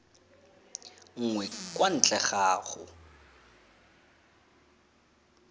nngwe kwa ntle ga go